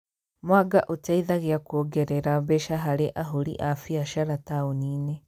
Mwanga ũteithagia kuongerera mbeca harĩ ahũri a mbiacara taũni-inĩ